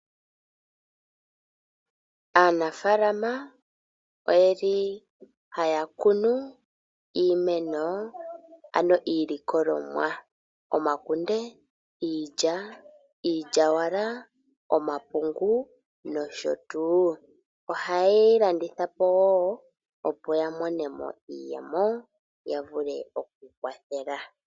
Aanafaalama oyeli haya kunu iimeno ano iilikolomwa, omakunde, iilya, iilyawala, omapungu, nosho tuu. Oha ye yi landithapo woo opo ya monemo iiyemo, ya vule okukwathela.